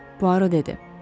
Puaro dedi.